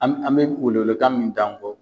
An bɛ welekan min da